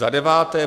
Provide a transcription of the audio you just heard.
Za deváté.